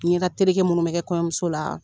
Ɲɛdatereke minnu bɛ kɛ kɔɲɔmuso la